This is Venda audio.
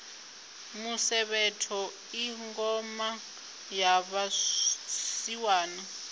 musevhetho i ngoma ya vhasiwana